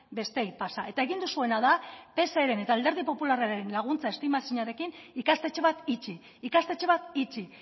besteei pasa eta egin duzuena da pseren eta alderdi popularraren laguntza estima ezinarekin ikastetxe bat itxi ikastetxe bat itxi